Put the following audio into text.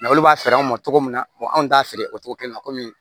olu b'a feere anw ma cogo min na anw t'a feere o togo kelen na komi